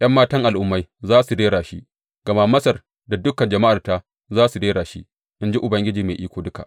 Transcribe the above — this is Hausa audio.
’Yan matan al’ummai za su rera shi; gama Masar da dukan jama’arta za su rera shi, in ji Ubangiji Mai Iko Duka.